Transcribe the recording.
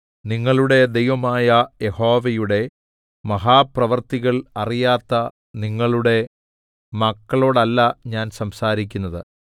നിങ്ങളുടെ ദൈവമായ യഹോവയുടെ മഹാപ്രവൃത്തികൾ അറിയാത്ത നിങ്ങളുടെ മക്കളോടല്ല ഞാൻ സംസാരിക്കുന്നത്